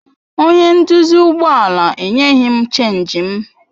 Onye nduzi ụgbọ ala enyeghị m Chénjị m.